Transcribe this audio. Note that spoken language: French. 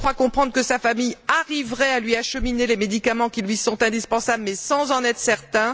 Je crois comprendre que sa famille arriverait à lui acheminer les médicaments qui lui sont indispensables mais sans en être certain.